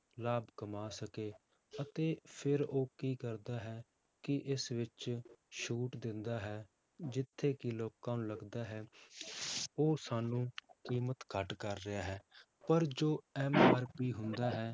ਲਾਭ ਕਮਾ ਸਕੇ ਅਤੇ ਫਿਰ ਉਹ ਕੀ ਕਰਦਾ ਹੈ ਕਿ ਇਸ ਵਿੱਚ ਛੂਟ ਦਿੰਦਾ ਹੈ ਜਿੱਥੇ ਕਿ ਲੋਕਾਂ ਨੂੰ ਲੱਗਦਾ ਹੈ ਉਹ ਸਾਨੂੰ ਕੀਮਤ ਘੱਟ ਕਰ ਰਿਹਾ ਹੈ ਪਰ ਜੋ MRP ਹੁੰਦਾ ਹੈ